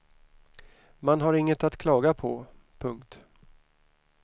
Man har inget att klaga på. punkt